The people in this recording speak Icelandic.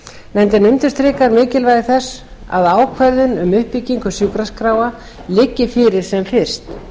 heilbrigðisþjónustu nefndin undirstrikar mikilvægi þess að ákvörðun um uppbyggingu sjúkraskráa liggi fyrir sem fyrst